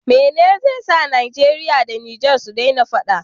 Mene ze sa nigeria da niger sudena faɗa